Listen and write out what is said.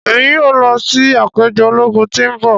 Emi yoo lọ si apejọ ologun ti n bọ.